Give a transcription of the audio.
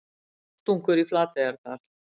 Rostungur í Flateyjardal